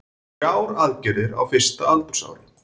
Þrjár aðgerðir á fyrsta aldursári